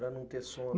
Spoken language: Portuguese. Para não ter sono.